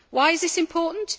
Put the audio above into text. Why is this important?